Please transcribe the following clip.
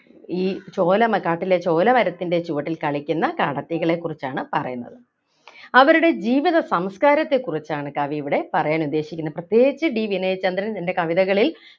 ഈ ചോല മ കാട്ടിലെ ചോല മരത്തിൻ്റെ ചുവട്ടിൽ കളിക്കുന്ന കാടത്തികളെ കുറിച്ചാണ് പറയുന്നത് അവരുടെ ജീവിത സംസ്കാരത്തെ കുറിച്ചാണ് കവിയിവിടെ പറയാൻ ഉദ്ദേശിക്കുന്നത് പ്രത്യേകിച്ച് D വിനയചന്ദ്രൻ തന്റെ കവിതകളിൽ